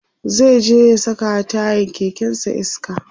zai je ya sakawa tayan kekensa iska